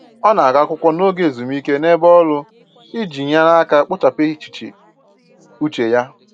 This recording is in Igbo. Ọ na-agụ akwụkwọ n'oge ezumike n'ebe ọrụ iji nyere aka kpochapụ echiche uche ya